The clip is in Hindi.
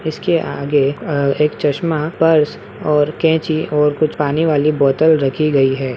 इसके आगे अ एक चश्मा पर्स और कैंची और कुछ पानी वाली बोतल रखी गयी है।